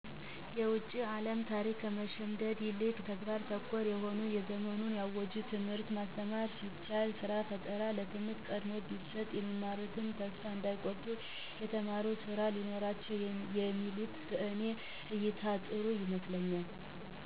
የውጭን አለም ታሪክ ከመሸምደድ ይልቅ ተግባር ተኮር የሆነ ዘመኑን የዋጀ ትምህርት ማስተማር ሲቻል፣ ስራ ፈጠራ ትምህርት ቀድሞ ቢሰጥ፣ የሚማሩት ተስፋ እንዳይቆርጡ የተማሩት ስራ ቢኖራቸው የሚሉት በእኔ እይታ ጥሩ ይመስለኛ።